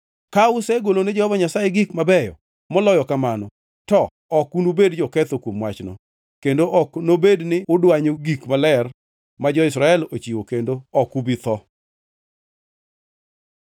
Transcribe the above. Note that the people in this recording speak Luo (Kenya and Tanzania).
Ka usegolone Jehova Nyasaye gik mabeyo moloyo kamano, to ok unubed joketho kuom wachno, kendo ok nobed ni udwanyo gik maler ma jo-Israel ochiwo kendo ok ubi tho.’ ”